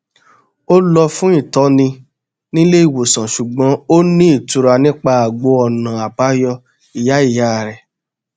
ó lọ fún ìtọni nílé ìwòsàn ṣùgbọn ó ní ìtura nípa àgbo ọnà àbáyọ ìyá ìyá rẹ